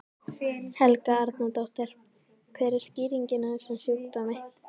Helga Arnardóttir: Hver er skýringin á þessum sjúkdómi?